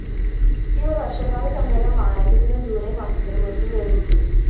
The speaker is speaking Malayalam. ഇവര്‍ വര്‍ഷകാല സമ്മേളനം ആരംഭിക്കുന്ന ജൂലൈ മാസത്തിന് മുന്‍പ് വിരമിക്കും